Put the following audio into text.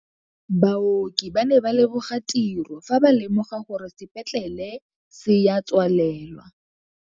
Baoki ba ne ba leboga tirô fa ba lemoga gore sepetlelê se a tswalelwa.